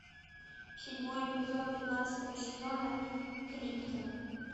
седьмой эпизод пятнадцатого сезона криптон